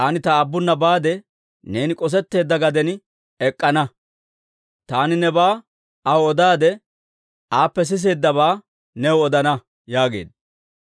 Taani ta aabbuna baade, neeni k'osetteedda gaden ek'k'ana; taani nebaa aw odaadde, aappe siseeddabaa new odana» yaageedda.